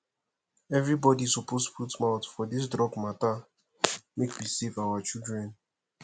everybodi suppose put mouth for dis drug mata make we save our children